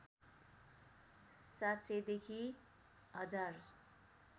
७०० देखि १०००